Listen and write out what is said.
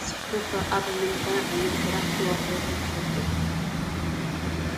ንስኹም ኽ ኣብ ምንታይ ዓይነት ስራሕ ተዋፈርኹም ትፈልጡ?